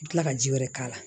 I bi kila ka ji wɛrɛ k'a la